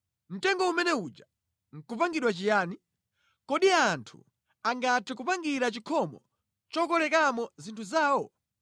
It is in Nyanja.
Mtengo umene uja nʼkupangira chiyani? Kodi anthu angathe kupangira chikhomo chokolekapo zinthu zawo?